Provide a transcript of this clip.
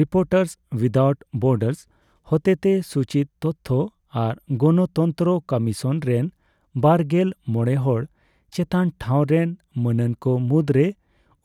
reporters without borders ᱦᱚᱛᱮᱛᱮ ᱥᱩᱪᱤᱛ ᱛᱚᱛᱷᱚ ᱟᱨ ᱜᱚᱱᱛᱚᱱᱛᱨᱚ ᱠᱚᱢᱤᱥᱚᱱ ᱨᱮᱱ ᱵᱟᱨᱜᱮᱞ ᱢᱚᱲᱮ ᱦᱚᱲ ᱪᱮᱛᱟᱱ ᱴᱷᱟᱣ ᱨᱮᱱ ᱢᱟᱹᱱᱟᱱᱠᱚ ᱢᱩᱫᱨᱮ